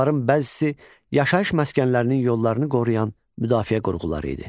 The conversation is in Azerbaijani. Onların bəzisi yaşayış məskənlərinin yollarını qoruyan müdafiə qurğuları idi.